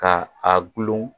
K a a dulon